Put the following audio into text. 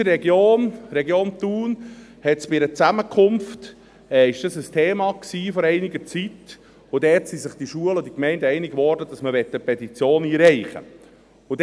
Bei uns in der Region war dies vor einiger Zeit bei einer Zusammenkunft ein Thema, und dort wurden sich die Schulen und Gemeinden einig, dass man eine Petition einreichen wolle.